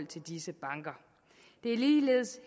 til disse banker det er ligeledes